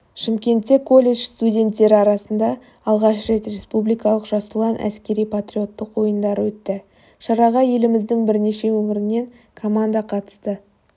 шымкентте колледж студенттері арасында алғаш рет республикалық жас ұлан әскери патриоттық ойындары өтті шараға еліміздің бірнеше өңірінен команда қатысты